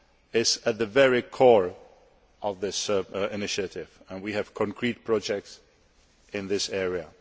is at the very core of this initiative and we have concrete projects in this area.